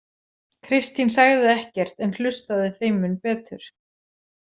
Kristín sagði ekkert en hlustaði þeim mun betur.